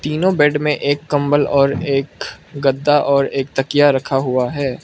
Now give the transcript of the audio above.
तीनों बेड में एक कंबल और एक गद्दा और एक तकिया रखा हुआ है।